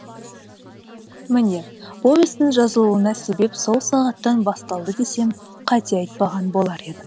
міне повестің жазылуына себеп сол сағаттан басталды десем қате айтпаған болар едім